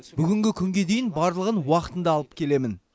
бүгінгі күнге дейін барлығын уақытында алып келемін